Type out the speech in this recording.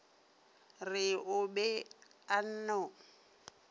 re o be a no